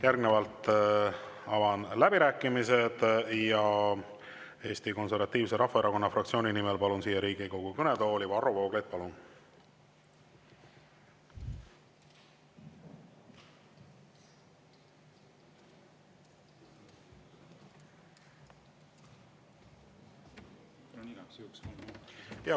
Järgnevalt avan läbirääkimised ja Eesti Konservatiivse Rahvaerakonna fraktsiooni nimel kõnelema palun Riigikogu kõnetooli Varro Vooglaiu.